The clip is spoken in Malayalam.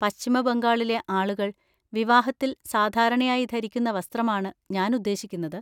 പശ്ചിമ ബംഗാളിലെ ആളുകൾ വിവാഹത്തിൽ സാധാരണയായി ധരിക്കുന്ന വസ്ത്രമാണ് ഞാൻ ഉദ്ദേശിക്കുന്നത്.